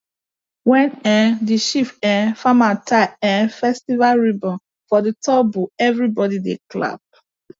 when um the chief um farmer tie um festival ribbons for the top bull everybody dey clap